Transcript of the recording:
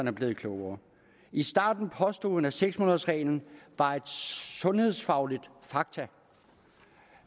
er blevet klogere i starten påstod hun at seks månedersreglen var et sundhedsfagligt faktum